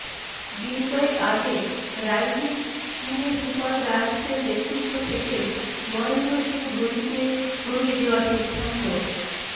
দিন কয়েক আগে রাইজিং পুণে সুপারজায়ান্টসের নেতৃত্ব থেকে মহেন্দ্র সিংহ ধোনিকে সরিয়ে দেওয়ার সিদ্ধান্ত